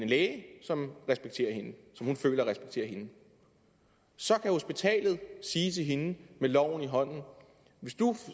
læge som hun føler respekterer hende så kan hospitalet sige til hende med loven i hånden hvis du